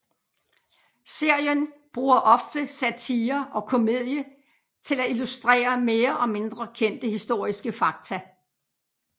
Serien bruger ofte satire og komedie til at illustrere mere og mindre kendte historiske fakta